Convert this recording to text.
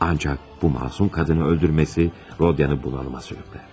Ancaq bu məsum qadını öldürməsi Rodion'ı bunalıma sürüklər.